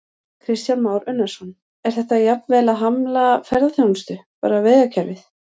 Kristján Már Unnarsson: Er þetta jafnvel að hamla ferðaþjónustu, bara vegakerfið?